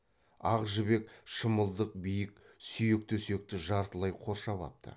ақ жібек шымылдық биік сүйек төсекті жартылай қоршап апты